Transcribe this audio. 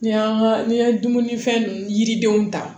N'i y'an ka ni ye dumunifɛn yiridenw ta